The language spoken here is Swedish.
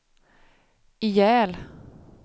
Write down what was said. ihjäl